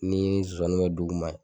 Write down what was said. N'i ye zonzani kɛ duguma